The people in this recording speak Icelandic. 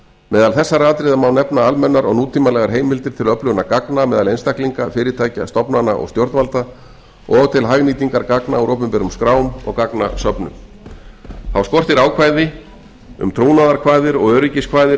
meðal þessara atriða má nefna almennar og nútímalegar heimildir til öflunar gagna meðal einstaklinga fyrirtækja stofnana og stjórnvalda og til hagnýtingar gagna úr opinberum skrám og gagnasöfnun þá skortir ákvæði um trúnaðarkvaðir og öryggiskvaðir